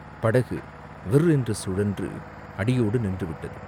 படகு விர் என்று சுழன்று அடியோடு நின்று விட்டது.